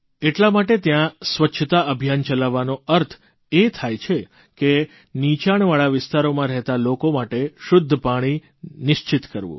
એટલા માટે ત્યાં સ્વચ્છતા અભિયાન ચલાવવાનો અર્થ એ થાય છે કે નિચાણવાળા વિસ્તારોમાં રહેતા લોકો માટે શુદ્ધ પાણી નિશ્ચિત કરવું